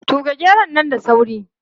Tuge geron nan da sauri!